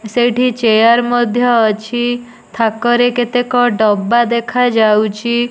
ସେଇଠି ଚେୟାର ମଧ୍ୟ ଅଛି। ଥାକ ରେ କେତେକ ଡବା ଦେଖା ଯାଉଚି।